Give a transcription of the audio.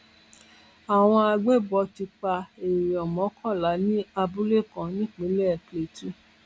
àwọn àgbébọ tún pa èèyàn mọkànlá ní abúlé kan nípínlẹ plateau